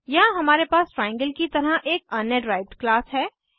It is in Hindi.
यहाँ हमारे पास ट्राइएंगल की तरह एक अन्य डिराइव्ड क्लास है